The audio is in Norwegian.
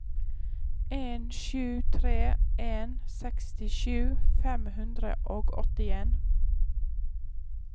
en sju tre en sekstisju fem hundre og åttien